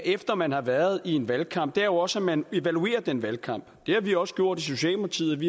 efter at man har været i en valgkamp er jo også at man evaluerer den valgkamp det har vi også gjort i socialdemokratiet